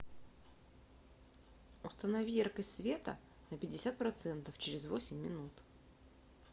установи яркость света на пятьдесят процентов через восемь минут